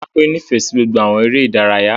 Rárá, Sholape nifẹ si gbogbo awọn ere idaraya.